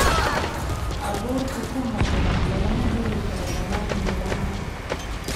Abuurka ku habboon lagama heli karo dhammaan meelaha.